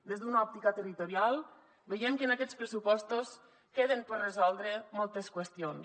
des d’una òptica territorial veiem que en aquests pressupostos queden per resoldre moltes qüestions